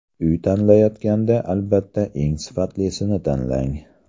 Uy tanlayotganda, albatta, eng sifatlisini tanlang!